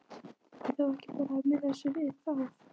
Er þá ekki bara að miða sig við það?